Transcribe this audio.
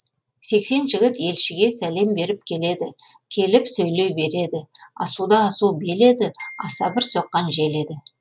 сексен жігіт елшіге сәлем беріп келеді келіп сөйлей береді асуда асу бел еді аса бір соққан жел еді